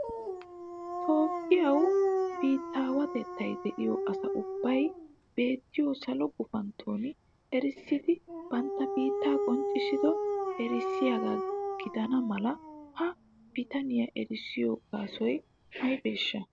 Toophiyawe biittawetatay de'iyo asa ubbay beettiyo Salo gufantton erissidi ba biittaa qoncissido erissiyaaga gidana mala ha nitanee erissiyo gaasoy aybbesha?